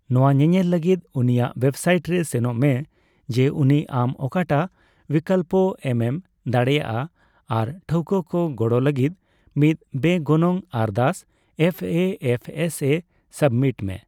ᱱᱚᱣᱟ ᱧᱮᱧᱮᱞ ᱞᱟᱹᱜᱤᱫ ᱩᱱᱣᱤᱭᱟᱜ ᱵᱮᱵᱥᱟᱭᱤᱴ ᱨᱮ ᱥᱮᱱᱚᱜ ᱢᱮ ᱡᱮ ᱩᱱᱤ ᱟᱢ ᱚᱠᱟ ᱴᱟᱜ ᱣᱤᱠᱞᱚᱯ ᱮᱢ ᱮᱢ ᱫᱟᱲᱮᱭᱟᱜᱼᱟ ᱟᱨ ᱯᱟᱹᱴᱷᱣᱟ ᱠᱚ ᱜᱚᱲᱚ ᱞᱟᱹᱜᱤᱫ ᱢᱤᱫ ᱵᱮᱜᱚᱱᱚᱝ ᱟᱨᱫᱟᱥ F A F S A submit ᱢᱮ ᱾